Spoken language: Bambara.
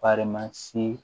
Faransi